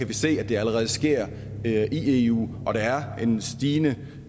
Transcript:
vi se at det allerede sker i eu og at der er en stigende